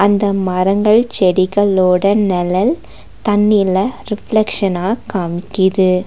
இந்த மரங்கள் செடிகளோட நெழல் தண்ணில ரிஃப்ளெக்ஷனா காம்மிக்கிது.